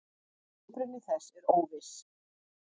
Uppruni þess er óviss.